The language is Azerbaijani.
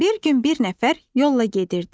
Bir gün bir nəfər yolla gedirdi.